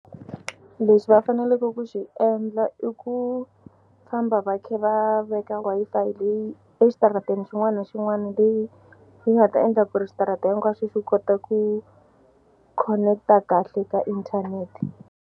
Lexi va faneleke ku xi endla i ku famba va kha va veka Wi-Fi leyi exitarateni xin'wana na xin'wana leyi yi nga ta endla ku ri switarata hinkwaswo swi kota ku connect-a kahle ka inthanete.